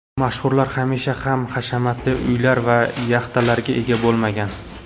Mashhurlar hamisha ham hashamatli uylar va yaxtalarga ega bo‘lmagan.